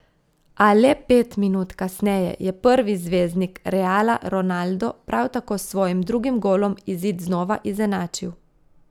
A le pet minut kasneje je prvi zvezdnik Reala Ronaldo, prav tako s svojim drugim golom, izid znova izenačil.